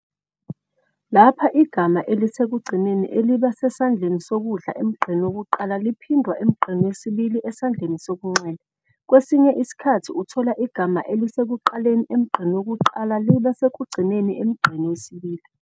Lapha igama elisekugcineni eliba sesandleni sokudla emgqeni wokuqala liphindwa emgqeni wesibili esandleni sokunxele. Kwesinye isikhathi uthola igama elisekuqaleni emgqeni wokuqala liba sekugcineni emgqeni wesibili.